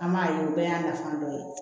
An b'a ye o bɛɛ y'a nafa dɔ ye